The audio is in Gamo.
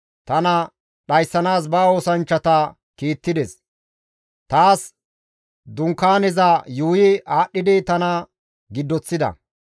Tana dhayssanaas ba oosanchchata kiittides; taas dunkaaneza yuuyi aadhdhidi tana giddoththida.